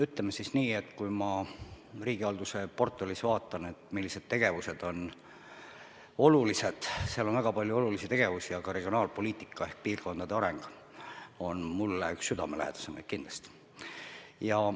Ütleme siis nii, et kui ma vaatan, millised tegevused on riigihalduse portfellis olulised, siis seal on väga palju olulisi tegevusi, aga regionaalpoliitika ehk piirkondade areng on mulle kindlasti üks südamelähedasemaid.